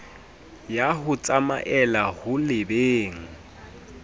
ya ho tsamaela ho lebeng